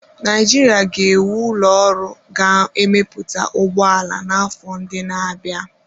Naijiria ga-ewu ụlọ ọrụ ga-emepụta ụgbọ ala n'afọ ndị na-abịa.